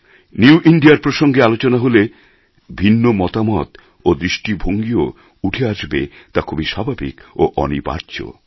new India র প্রসঙ্গে আলোচনা হলে ভিন্ন মতামত ও দৃষ্টিভঙ্গিও যে উঠে আসবে তা খুবই স্বাভাবিক ও অনিবার্য